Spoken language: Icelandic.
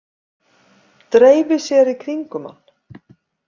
Dreifi sér í kringum hann.